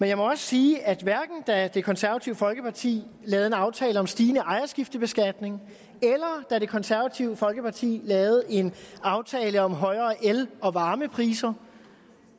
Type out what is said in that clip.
jeg må også sige at hverken da det konservative folkeparti lavede en aftale om en stigende ejerskiftebeskatning eller da det konservative folkeparti lavede en aftale om højere el og varmepriser